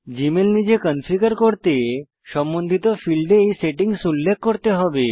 Gmail নিজে configure করতে সম্বন্ধিত ফীল্ডে এই সেটিংস উল্লেখ করতে হবে